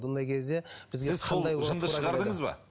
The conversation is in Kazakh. бұндай кезде